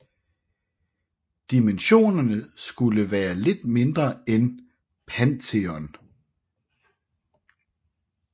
Dimensionerne skulle være lidt mindre end Pantheon